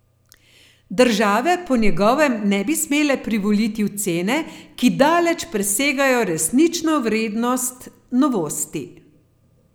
Države po njegovem ne bi smele privoliti v cene, ki daleč presegajo resnično vrednost novosti.